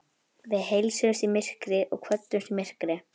Við heilsuðumst í myrkri og kvöddumst í myrkri.